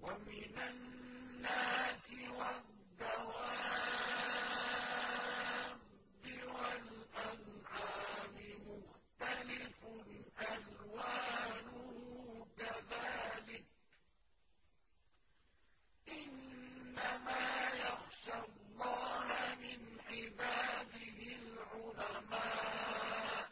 وَمِنَ النَّاسِ وَالدَّوَابِّ وَالْأَنْعَامِ مُخْتَلِفٌ أَلْوَانُهُ كَذَٰلِكَ ۗ إِنَّمَا يَخْشَى اللَّهَ مِنْ عِبَادِهِ الْعُلَمَاءُ ۗ